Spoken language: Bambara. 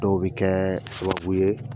Dɔw bɛ kɛ sababu ye.